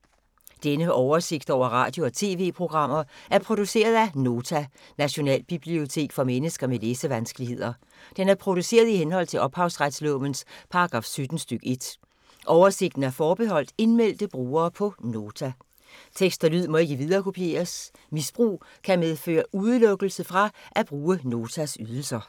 Denne oversigt over radio og TV-programmer er produceret af Nota, Nationalbibliotek for mennesker med læsevanskeligheder. Den er produceret i henhold til ophavsretslovens paragraf 17 stk. 1. Oversigten er forbeholdt indmeldte brugere på Nota. Tekst og lyd må ikke viderekopieres. Misbrug kan medføre udelukkelse fra at bruge Notas ydelser.